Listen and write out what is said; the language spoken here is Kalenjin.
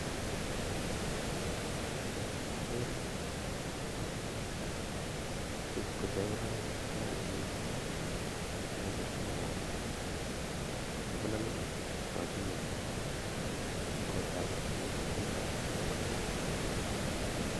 Ageere ale chu KO chebololunik chekakiyoo moche sinyon keam. Chebololunik Chu kokakiyoo ak kotoogu koiyo ak koorur